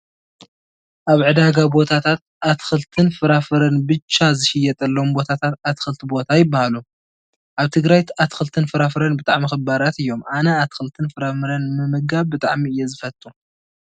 ኣብ ዕዳጋ ቦታታት ኣትኽልትን ፍራፍረን ብቻ ዝሽየጠሎም ቦታታት ኣትኽልቲ ቦታ ይበሃሉ። ኣብ ትግራይ ኣትኽልትን ፍራፍረን ብጣዕሚ ክባራት እዮም። ኣነ ኣትኽልትን ፍራፍረን ምምጋብ ብጣዕሚ እየ ዝፈትው።